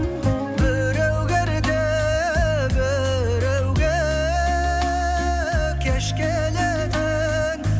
біреуге ерте біреуге кеш келетін